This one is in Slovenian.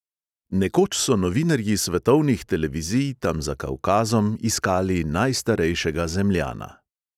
Nekoč so novinarji svetovnih televizij tam za kavkazom iskali najstarejšega zemljana.